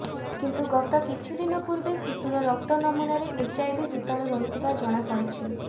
କିନ୍ତୁ ଗତ କିଛି ଦିନ ପୂର୍ବେ ଶିଶୁର ରକ୍ତ ନମୂନାରେ ଏଚ୍ଆଇଭି ଭୂତାଣୁ ରହିଥିବା ଜଣାପଡିଛି